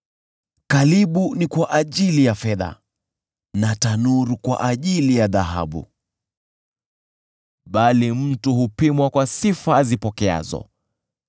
Kalibu ni kwa ajili ya fedha na tanuru kwa ajili ya dhahabu, bali mtu hupimwa kwa sifa azipokeazo.